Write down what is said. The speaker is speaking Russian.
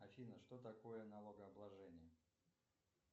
афина что такое налогообложение